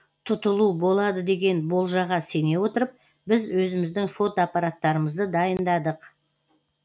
тұтылу болады деген болжаға сене отырып біз өзіміздің фотоаппараттарымызды дайындадық